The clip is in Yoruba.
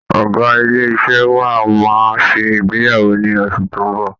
Ọ̀gá ilé iṣẹ́ wa máa ṣe ìgbéyàwó ní oṣù tó ń bọ̀